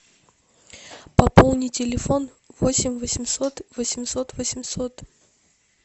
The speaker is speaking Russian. пополни телефон восемь восемьсот восемьсот восемьсот